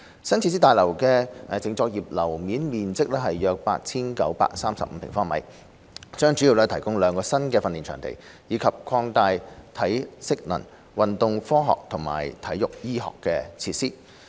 新設施大樓的淨作業樓面面積約 8,935 平方米，將主要提供兩個新的訓練場地，以及擴大體適能、運動科學及運動醫學的設施。